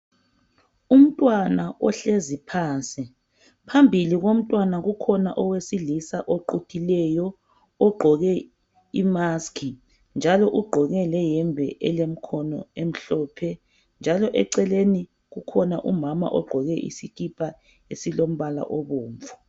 Umntwana ohlezi phansi ,phambili komntwana kukhona owesilisa oquthileyo. Ogqoke Imask ,njalo ugqoke lehembe elemikhono emhlophe. Njalo eceleni kukhona umama ogqoke isikhipha esilombala obomvu.